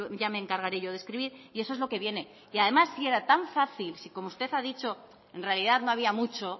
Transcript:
ya me encargaré yo de escribir y eso es lo que viene y además si era tan fácil si como usted ha dicho en realidad no había mucho